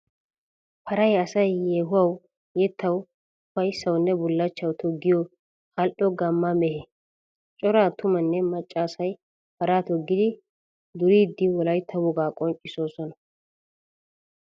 Paray asay yeehuwawu yettawu ufayssawunne bullachchawu toggiyo ali'o gamma mehe. Cora atumanne macca asay paraa toggiddi duriddi wolaytta wogaa qonccisossonna.